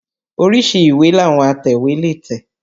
Oríṣi ìwé làwọn atẹ̀wé lè tẹ̀